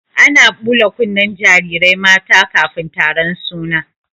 Ana ɓula kunnen jarirai mata kafin taron suna.